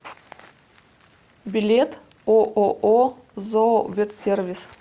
билет ооо зооветсервис